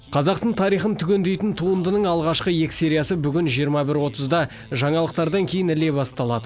қазақтың тарихын түгендейтін туындының алғашқы екі сериясы бүгін жиырма бір отызда жаңалықтардан кейін іле басталады